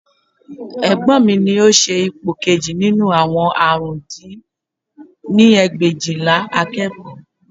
Egbọ́n mi ni ó ṣe ipò kejì nínú àwọn àrùn dín ní ẹgbẹ̀éjìlá akẹ́kọ̀ọ́